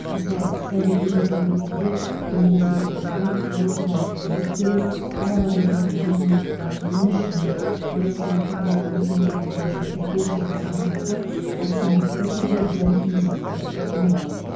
мысалы сәби дүниеге келгенде оны есепке алу туу туралы куәлік беру балаға берілетін жәрдемақыға өтініш және нәрестені тұрғылықты мекенжайы бойынша тіркеу секілді қызметтер автоматты түрде бір мезетте ұсынылады